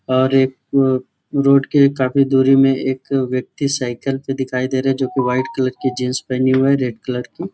और एक वो रोड के काफ़ी दूरी में एक वयक्ति साइकिल पे दिखाई दे रहे है जो की वाइट कलर की जीन्स पहनी हुए है रेड कलर की--